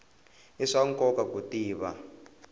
i swa nkoka ku tiva